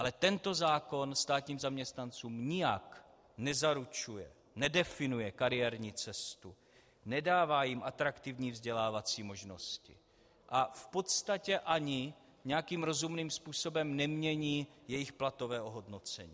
Ale tento zákon státním zaměstnancům nijak nezaručuje, nedefinuje kariérní cestu, nedává jim atraktivní vzdělávací možnosti a v podstatě ani nějakým rozumným způsobem nemění jejich platové ohodnocení.